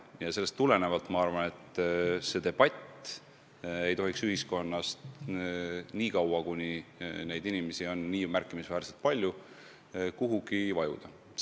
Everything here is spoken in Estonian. Sellest tulenevalt ma arvan, et see debatt ei tohiks ühiskonnas nii kaua, kuni neid inimesi on märkimisväärselt palju, kuhugi ära vajuda.